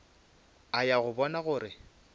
a ya go bona gore